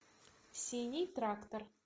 синий трактор